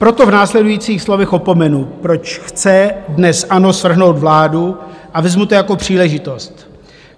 Proto v následujících slovech opomenu, proč chce dnes ANO svrhnout vládu, a vezmu to jako příležitost.